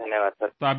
धन्यवाद् सर।